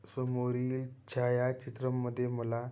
समोरील छाया चित्रमध्ये मला--